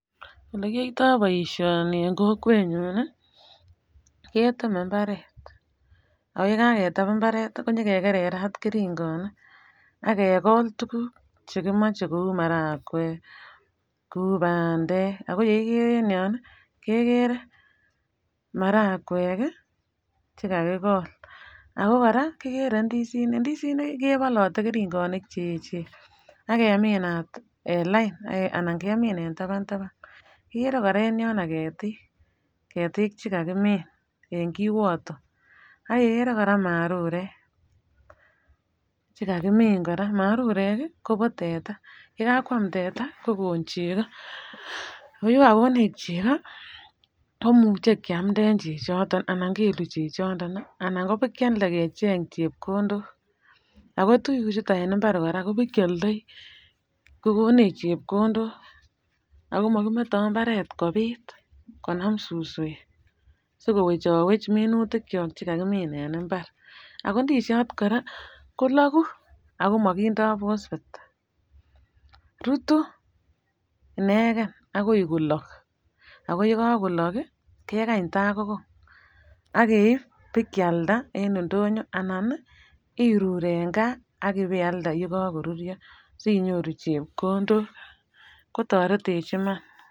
Olekiyoito boishoni en kokwenyun nii ketemen imbaret ak yekaketem imbaret ak kekererat keringonik ak kegol tukuk chekimoche kou marakwek, kou pandek ako yeikere en yon nii ko marakwek kii chekakigol, ako Koraa Kekere indisinik, ndisinik nkii kebolote keringonik cheyechen ak keminat en lain anan Kemin en taban taban, ikere Koraa en yono ketik chekakimin en kiwoto ak Kekere Koraa marurek chekakimin Koraa marurek kii Kobo teta, yekakwam teta kokon cheko, yekokonech cheko ko imuche kiamden chechoton anan kelu chechoton nii anan kepakiade kecheng chepkondok. Ako tukuk chuton en imbar Koraa kobokioldoi kokonech chepkondok ako mokimeto imbaret kobit konam suswek sikowechowech minutik chok chekakimin en imbar. Ako indeshot koraa koloku ako mokindo []phosphate rutu ineken akoi kolok ako yekokolok kii kekany takokong ak keib bakialda en indonyo anan nii irur en gaa akipeald yekokoruryo sinyoru chepkondok kotoretech Iman.